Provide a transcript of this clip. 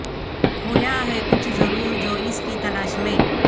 کھویا ہے کچھ ضرور جو اس کی تلاش میں